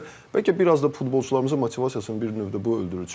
Bəlkə biraz da futbolçularımızın motivasiyasını bir növdə bu öldürür.